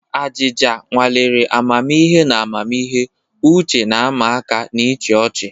Ajịja nwalere amamihe na amamihe, uche na-ama aka na ịchị ọchị.